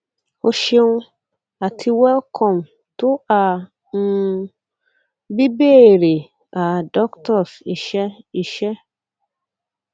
o ṣeun ati welcome to a um bíbéèrè a doctors iṣẹ iṣẹ